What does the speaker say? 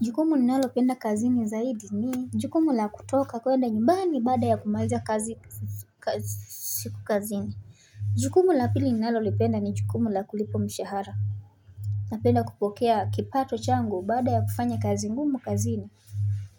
Jukumu ninalopenda kazini zaidi ni Jukumu la kutoka kwenda nyumbani baada ya kumaliza kazi siku kazini. Jukumu la pili ninalopenda ni jukumu la kulipwa mshahara. Napenda kupokea kipato changu baada ya kufanya kazi ngumu kazini.